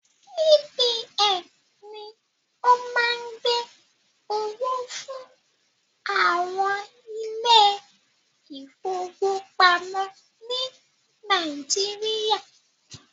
CBN ni o má ń gbẹ́ owó fún àwọn ilé ìfọwọ́pamo ni Nàíjíríà.